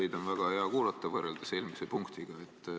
Teid on väga hea kuulata, kui võrrelda eelmise punktiga.